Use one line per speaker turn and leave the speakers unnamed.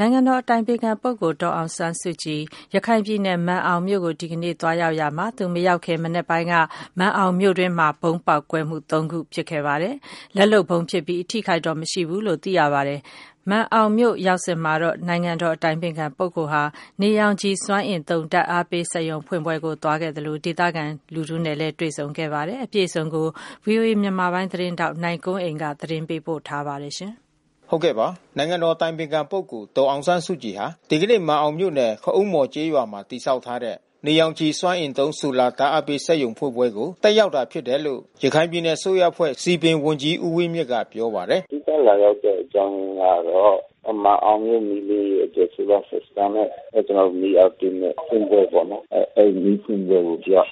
နိုင်ငံတော်အတိုင်ပင်ခံပုဂ္ဂိုလ် ဒေါ်အောင်ဆန်းစုကြည် ရခိုင်ပြည်နယ် မာန်အောင်မြို့ကို ဒီကနေ့ သွားရောက်ရာမှာ၊ သူမရောက်ခင် မနက်ပိုင်းက မာန်အောင်မြို့တွင်းမှာ ဗုံးပေါက်ကွဲမှု ၃ ခု ဖြစ်ခဲ့ပါတယ်။ လက်လုပ်ဗုံးဖြစ်ပြီး အထိအခိုက်တော့ မရှိဘူးလို့ သိရပါတယ်။ မာန်အောင်မြို့ရောက်စဉ်မှာတော့ နိုင်ငံတော်အတိုင်ပင်ခံဟာ နေရောင်ခြည်စွမ်းအင်သုံး ဓာတ်အားပေး စက်ရုံဖွင့်ပွဲကို သွားခဲ့သလို ဒေသခံလူထုနဲ့ပါ တွေ့ဆုံခဲ့ပါတယ်။ အပြည့်အစုံကို ဗွီအိုအေမြန်မာပိုင်း သတင်းထောက်နိုင်ကွန်းအိန် က သတင်းပေးပို့ထားပါတယ်။
နိုင်ငံတော်အတိုင်ပင်ခံပုဂ္ဂိုလ် ဒေါ်အောင်ဆန်းစုကြည်ဟာ ဒီကနေ့ မာန်အောင်မြို့နယ် ခအုန်းမော်ကျေးရွာမှာ တည်ဆောက်ထားတဲ့ နေရောင်ခြည်စွမ်းအင်သုံး solar ဓာတ်အားပေး စက်ရုံဖွင့်ပွဲကို တက်ရောက်တာဖြစ်တယ်လို့ ရခိုင်ပြည်နယ်အစိုးရအဖွဲ့ စည်ပင်ဝန်ကြီးဦးဝင်းမြင့်က ပြောပါတယ်။ “အ
ဓိကလာရောက်တဲ့အကြောင်းအရင်းကတော့ မာန်အောင်ရဲ့မီးလင်းရေးအတွက် Solar System နဲ့ ကျနော်တို့ မီးအားသွင်းမဲ့ ဖွင့်ပွဲပေါ့နော်။ အဲဒီမီးဖွင့်ပွဲကိုသူက လာ